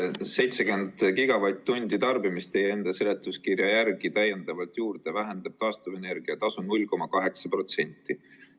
70 gigavatt-tundi täiendavat tarbimist vähendab teie enda seletuskirja järgi taastuvenergia tasu 0,8%.